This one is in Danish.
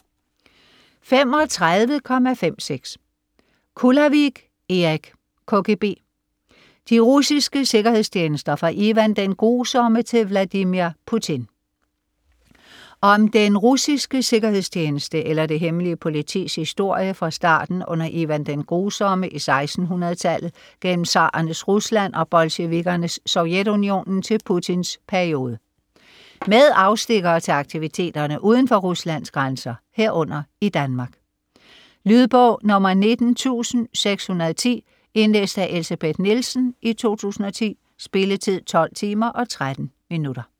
35.56 Kulavig, Erik: KGB: de russiske sikkerhedstjenester fra Ivan den Grusomme til Vladimir Putin Om den russiske sikkerhedstjeneste eller det hemmelige politis historie fra starten under Ivan den Grusomme i 1600-tallet, gennem tsarernes Rusland og bolsjevikkernes Sovjetunionenen til Putins periode. Med afstikkere til aktiviteterne uden for Ruslands grænser, herunder i Danmark. Lydbog 19610 Indlæst af Elsebeth Nielsen, 2010. Spilletid: 12 timer, 13 minutter.